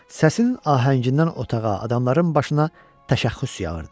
Səsinin ahəngindən otağa, adamların başına təşəxxüs yağırdı.